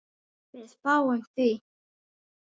Við fáum því